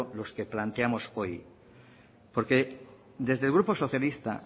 los que planteamos hoy porque desde el grupo socialista